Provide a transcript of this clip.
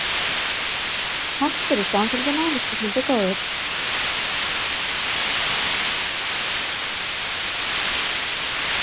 Takk fyrir samfylgdina, lesandi góður.